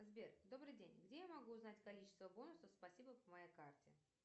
сбер добрый день где я могу узнать количество бонусов спасибо по моей карте